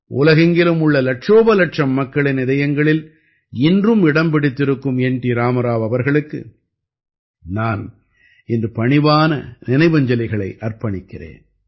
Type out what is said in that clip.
உலகெங்கிலும் உள்ள இலட்சோபலட்சம் மக்களின் இதயங்களில் இன்றும் இடம் பிடித்திருக்கும் என் டி ராமராவ் அவர்களுக்கு நான் இன்று பணிவான நினைவாஞ்சலிகளை அர்ப்பணிக்கிறேன்